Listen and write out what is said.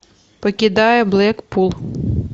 покидая блэкпул